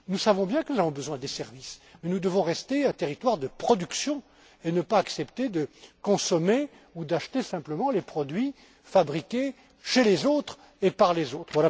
services. Nous savons bien que nous avons besoin de services, mais nous devons rester un territoire de production et ne pas accepter de consommer ou d'acheter simplement les produits fabriqués chez et par